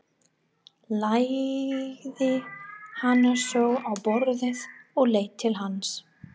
Lagði hana svo á borðið og leit til hans.